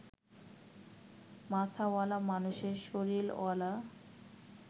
মাথাওয়ালা মানুষের শরীরওয়ালা